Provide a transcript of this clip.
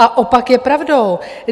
A opak je pravdou.